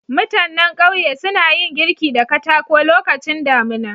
Mutannan ƙauye suna yin girki da katako lokacin damuna.